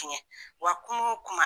Tiɲɛ, wa kuma o kuma